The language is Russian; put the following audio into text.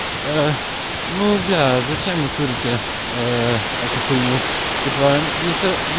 ну да зачем вы курите эту х него типа